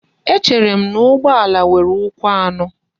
Echerem na ugbo ala nwere ukwu ano?